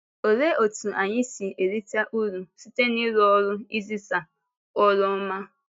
Òlee otú anyị si erite ùrụ̀ site n’ịrụ́ ọ́rụ izisa ọ́rụ ọma?